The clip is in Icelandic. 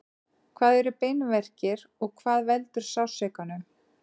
hvað eru beinverkir og hvað veldur sársaukanum